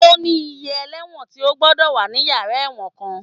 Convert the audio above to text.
Ó ní iye ẹlẹ́wọ̀n tí ó gbọ́dọ̀ wà ní yàrá ẹ̀wọ̀n kan